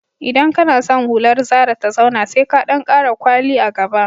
Idan kana san hular zara ta zauna, sai ka ɗan ƙara kwali a gaba